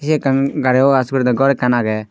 he ekkan gari wash gorede ghor ekkan agey.